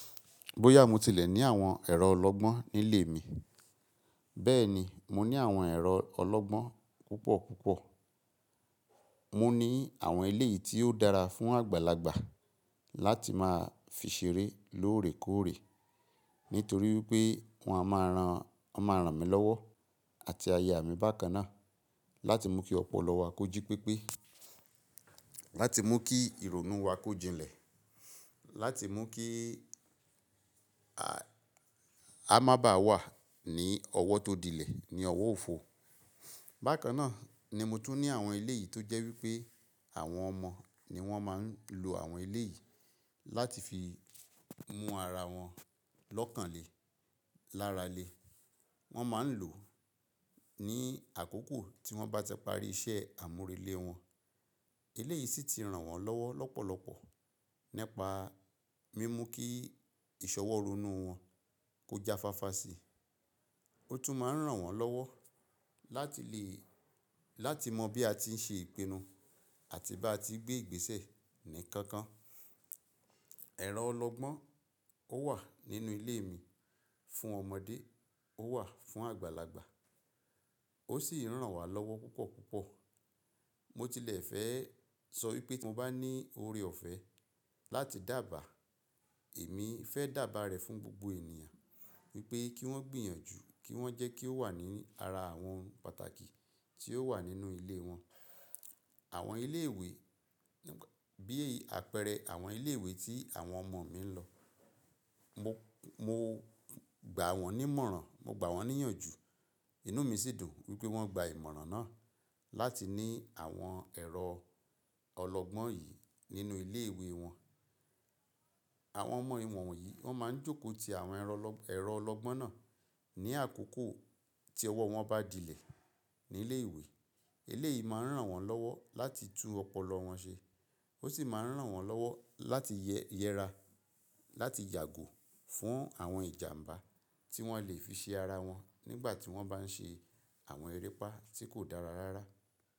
Bóyá mo tilẹ̀ ní àwọn ẹ̀rọ ọlọ́gbọ́n nílé mi, bẹ́ẹ̀ni, mo ní àwọn ẹ̀rọ ọlọ́gbọ́n púpọ̀ púpọ̀. Mo ní àwọn elé yìí tí ó dára fún àgbàlagbà láti máa fi ṣeré lóòrèkóòrè, nítorí wipé wọ́n a máa ràn, a máa ràn mí lọ́wọ́ àti aya mi bákan náà láti mú kí ọpọlọ wa kó jí pépé, láti mú kí ìrònú wa kó jínlẹ̀, láti mú kí a má ba wà ní ọwọ́ tó dilẹ̀ ní ọwọ́ òfo. Bákan náà ni mo tún ní àwọn ilé yìí tó jẹ́ wípé àwọn ọmọ ni wón máa ń lò àwọn ilé yìí láti fi mú ara wọn lọ́kàn le, lára le. Wón máa ń lò ní àkókò tí wón bá tipá rí iṣẹ́ àmúrelé wọn. Elé yìí sì ti ràn wọ́n lọ́wọ́ lọ́pọ̀lọpọ̀ nípa mímú kí ìṣọwọ́ rònú wọn kó jáfáfá sí i. Ó tún máa ń ràn wọ́n lọ́wọ́ láti lè, láti mọ bí a ti ń ṣe ìpinnu àti bá a ti n gbé ìgbésẹ̀ ní kankan. Ẹ̀rọ ọlọ́gbọ́n ó wà nínú ilé mi fún ọmọdé, ó wà fún àgbàlagbà. Ó sì ń ràn wá lọ́wọ́ púpọ̀ púpọ̀. Mo tilẹ̀ fẹ́ sọ wípé tí mo bá ní oore ọ̀fẹ́ láti dàbà, èmi fẹ́ dàbà rẹ̀ fún gbogbo ènìyàn wípé kí wón gbìyànjú, kí wón jẹ́ kí ó wà ní ara àwọn pàtàkì tí ó wà nínú ilé wọn. Àwọn ilé ìwé, bí apẹẹrẹ àwọn ilé ìwé tí àwọn ọmọ mi ń lọ. Mo, mo gbà wọ́n nímọ̀ràn, mo gbà wọ́n níyànjú. Inú mi sì dùn wípé wón gba ìmọ̀ràn náà láti ní àwọn ẹ̀rọ ọlọ́gbọ́n yìí nínú ilé ìwé wọn. Àwọn ọmọ iwọ̀nyí wón máa ń jókòó ti àwọn ẹ̀rọ ọlọ́, ẹ̀rọ ọlọ́gbọ́n náà ní àkókò tí ọwọ́ wọn bá dilẹ̀ nílé ìwé. Ilé yìí máa ń ràn wọ́n lọ́wọ́ láti tú ọpọlọ wọn ṣe. Ó sì máa ń ràn wọ́n lọ́wọ́ láti yẹ, yẹra, láti yàgò fún àwọn ìjàǹbá tí wọ́n lè fi ṣe ara wọn nígbà tí wọ́n bá ń ṣe àwọn erépá tí kò dára rárá.